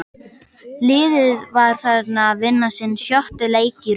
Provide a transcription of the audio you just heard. Liðið var þarna að vinna sinn sjötta leik í röð.